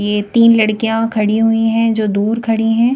ये तीन लड़कियां खड़ी हुई हैं जो दूर खड़ी हैं।